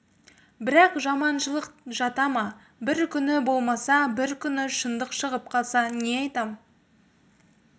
бірақ жаманшылық жата ма бір күні болмаса бір күні шындық шығып қалса не айтам